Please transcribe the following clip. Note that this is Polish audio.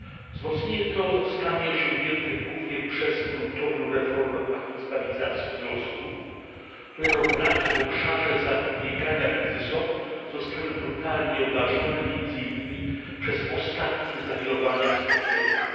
Wzmocnienie to zostanie osiągnięte głównie przez gruntowną reformę paktu stabilizacji i wzrostu, którego braki w obszarze zapobiegania kryzysom zostały brutalnie obnażone między innymi przez ostatnie zawirowania w strefie euro.